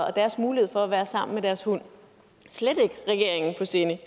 og deres mulighed for at være sammen med deres hund slet ikke regeringen på sinde